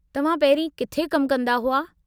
तव्हां पहिरीं किथे कमु कंदा हुआ?